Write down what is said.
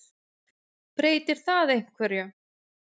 Breytir það einhverju?